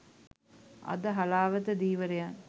අද හලාවත ධීවරයන්